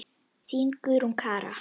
Þín, Guðrún Kara.